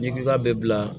N'i ka bɛɛ bila